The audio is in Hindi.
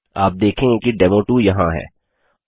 आप देखेंगे कि डेमो2 यहाँ है